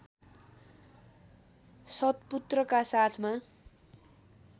सत्पुत्रका साथमा